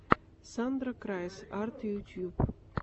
сандра крайс арт ютюб